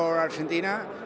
og Argentína